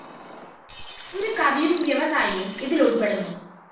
ഒരു കവിയും വ്യവസായിയും ഇതിലുള്‍പ്പെടുന്നു